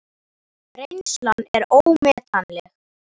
Reynslan er ómetanleg